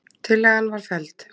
Tillagan var felld